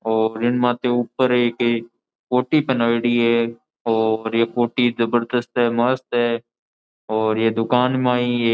और इनमाते ऊपर एकेक कोटी पहनाओडी है और ये कोटी जबरदस्त है मस्त है और ये दुकान माई ए --